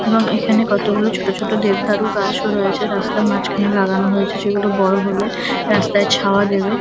এবং এখানে কতগুলো ছোট ছোট দেবদারু গাছও রয়েছে রাস্তার মাঝখানে লাগানো হয়েছে যেগুলো বড় হলে রাস্তায় ছাওয়া দেবে ।